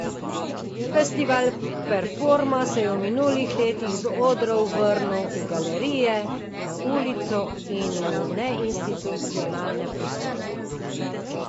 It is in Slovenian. Festival Performa se je v minulih letih z odrov vrnil v galerije, na ulico in v neinstitucionalne prostore.